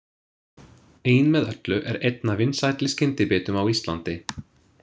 „Ein með öllu“ er einn af vinsælli skyndibitum á Íslandi.